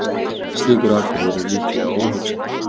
Slíkur atburður er líklega óhugsandi.